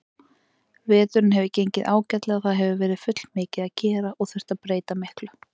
Veturinn hefur gengið ágætlega, það hefur verið fullmikið að gera og þurft að breyta miklu.